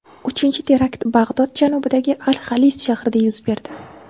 Uchinchi terakt Bag‘dod janubidagi Al-Xalis shahrida yuz berdi.